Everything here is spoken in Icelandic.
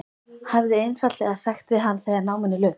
Hefði einfaldlega sagt við hann þegar náminu lauk.